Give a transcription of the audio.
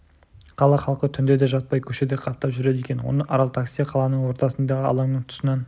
қала халқы түнде де жатпай көшеде қаптап жүреді екен оны арал такси қаланың ортасындағы алаңның тұсынан